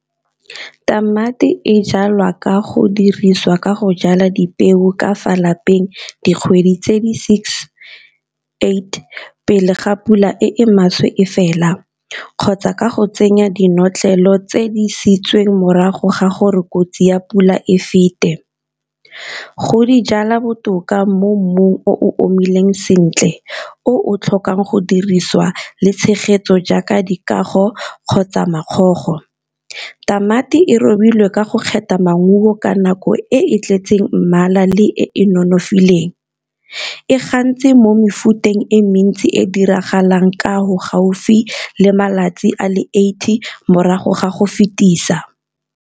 Tamati e jalwa ka go dirisiwa ka go jala dipeo ka fa lapeng dikgwedi tse di six eight pele ga pula e maswe e fela, kgotsa ka go tsenya dinotlolo tse di siametseng morago ga gore kotsi ya pula e fete. Go di jala botoka mo mmung o omileng sentle o tlhokang go dirisiwa le tshegetso jaaka dikago kgotsa makgogo. Tamati e robilwe ka go kgetha maungo ka nako e e tletseng mmala le e e nonofileng, e gantsi mo mefuteng e mentsi e diragalang ka go gaufi le malatsi a le eighty morago ga go fetisa.